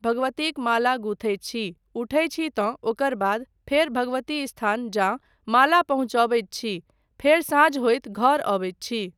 भगवतीक माला गूथै छी, उठै छी तँ ओकर बाद फेर भगवती स्थान जा माला पहुँचौबैत छी फेर साँझ होइत घर अबैत छी।